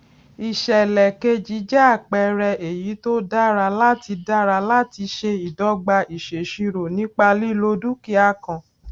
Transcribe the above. ìsèlè keji jẹ àpẹẹrẹ èyí tó dára láti dára láti ṣe ìdogba ìsèṣirò nípa lílo dúkìá kan